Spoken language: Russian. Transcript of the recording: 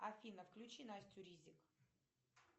афина включи настю ризик